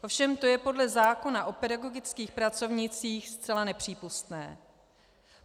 Ovšem to je podle zákona o pedagogických pracovnících zcela nepřípustné.